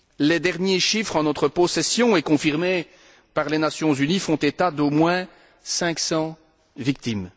Les derniers chiffres en notre possession et confirmés par les Nations unies font état d'au moins 500 victimes.